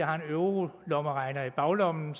har en eurolommeregner i baglommen